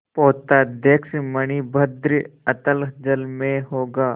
पोताध्यक्ष मणिभद्र अतल जल में होगा